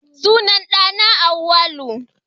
Sunan ɗa na Auwalu